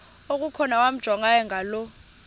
okukhona wamjongay ngaloo